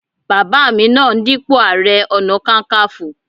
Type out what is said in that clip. Bàbá mi náà ń dípò ààrẹ ọ̀nà kakaǹfò